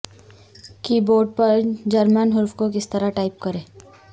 کی بورڈ پر جرمن حروف کو کس طرح ٹائپ کریں